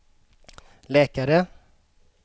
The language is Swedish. läkare